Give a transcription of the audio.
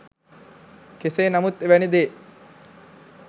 කෙසේ නමුත් එවැනි දේ